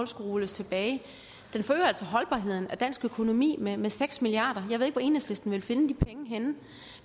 skulle rulles tilbage den forøger altså holdbarheden af dansk økonomi med med seks milliard jeg ved ikke hvor enhedslisten ville finde de penge henne